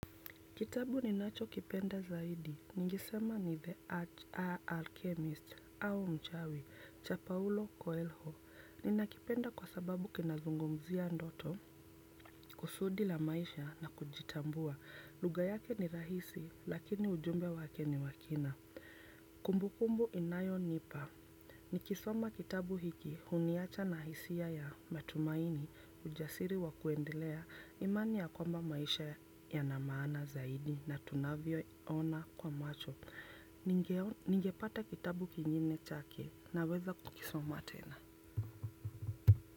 Kitabu ninacho kipenda zaidi, ningisema ni The Arch A. Alchemist au mchawi, cha Paulo Coelho. Ninakipenda kwa sababu kinazungumzia ndoto, kusudi la maisha na kujitambua. Lugha yake ni rahisi, lakini ujumbe wake ni wa kina. Kumbu kumbu inayo nipa. Nikisoma kitabu hiki huniacha na hisia ya matumaini ujasiri wa kuendelea imani ya kwamba maisha yana maana zaidi na tunavyo ona kwa macho. Ningepata kitabu kingine chake na weza kukisoma tena.